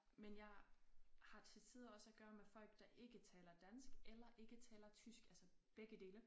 Men jeg har til tider også at gøre med flok der ikke taler dansk eller ikke taler tysk altså begge dele